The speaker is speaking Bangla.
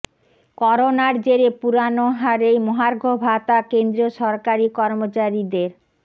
করোনার জেরে পুরোনো হারেই মহার্ঘ ভাতা কেন্দ্রীয় সরকারী কর্মচারীদের